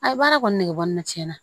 A ye baara kɔni nege bɔ n na tiɲɛna